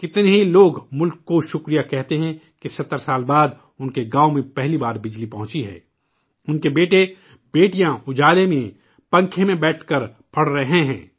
کتنے ہی لوگ ملک کا شکریہ ادا کرتے ہیں کہ 70 سال بعد انکے گاؤں میں پہلی بار بجلی پہنچی ہے، انکے بیٹے بیٹیاں اجالے میں، پنکھے میں بیٹھ کرکے پڑھ رہے ہیں